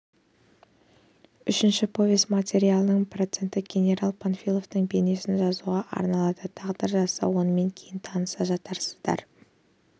үшінші повесть материалының проценті генерал панфиловтың бейнесін жасауға арналады тағдыр жазса онымен кейін таныса жатарсыздар